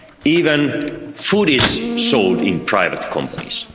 even food is sold in private companies.